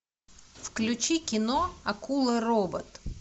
включи кино акула робот